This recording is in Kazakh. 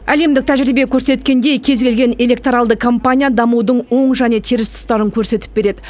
әлемдік тәжірибе көрсеткендей кез келген электоралды кампания дамудың оң және теріс тұстарын көрсетіп береді